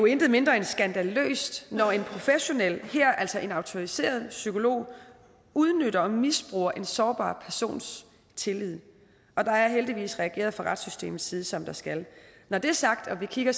intet mindre end skandaløst når en professionel altså en autoriseret psykolog udnytter og misbruger en sårbar persons tillid og der er heldigvis reageret fra retssystemets side som der skal når det er sagt og vi kigger